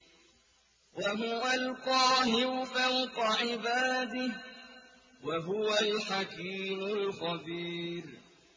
وَهُوَ الْقَاهِرُ فَوْقَ عِبَادِهِ ۚ وَهُوَ الْحَكِيمُ الْخَبِيرُ